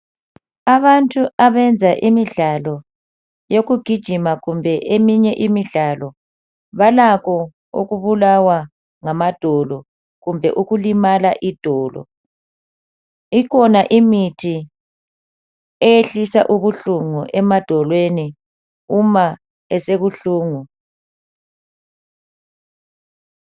Abantu abenza imidlalo yekugijima kumbe eminye imidlalo, balakho ukubulawa ngamadolo kumbe ukulimala idolo. Ikhona imithi eyehlisa ubuhlungu emadolweni uma esebuhlungu.